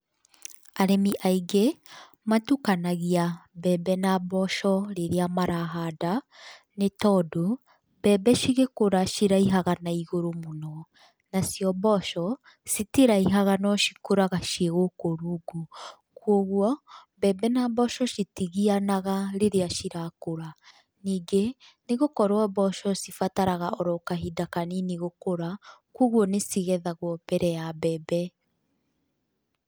Arĩmi aingĩ, matukanagia mbembe na mboco rĩrĩa marahanda, nĩ tondũ, mbembe cigĩkũra ciraihaga naigũrũ mũno, nacio mboco, citiraihaga no cikũraga ciĩ gũkũ rungu, koguo, mbembe na mboco citigianaga rĩrĩa cirakũra, ningĩ nĩ gũkorwo mboco cibataraga oro kahinda kanini gũkũra, kogwo nĩ cigethagwo mbere ya mbembe.